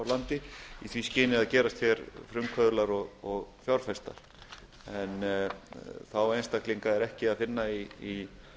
landi í því skyni að gerast frumkvöðlar og fjárfestar en þá einstaklinga er ekki að finna í